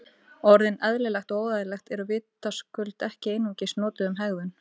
Orðin eðlilegt og óeðlilegt eru vitaskuld ekki einungis notuð um hegðun.